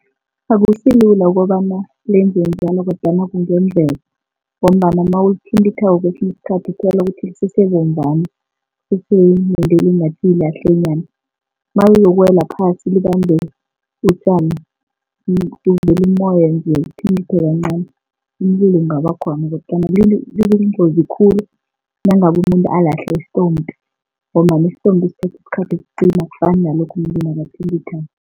Akusilula ukobana benze njalo kodwana kungenzeka, ngombana nawulithintithako kwesinye isikhathi uthola ukuthi lisesebomvana, lisese nentwele ngathi yilahlenyana. Naliyokuwela phasi libanjwe utjani kuvele umoya nje uthintithe kancani umlilo ungabakhona kodwana liyingozi khulu nangabe umuntu alahle isitompi ngombana isitompi sithatha isikhathi ukucima asifani nalokha umuntu nakathintithako.